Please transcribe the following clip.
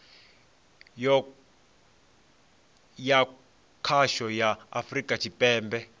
ya khasho ya afurika tshipembe